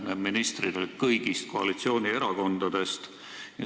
Need ministrid olid kõigist koalitsioonierakondadest.